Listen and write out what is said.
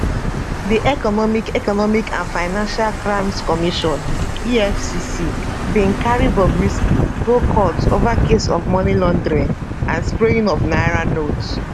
di economic economic and financial crimes commission efcc bin carry bobrisky go court ova case of money laundering and spraying of naira notes